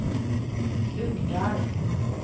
Uggdal